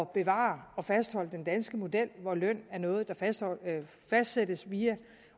bevare og fastholde den danske model hvor løn er noget der fastsættes via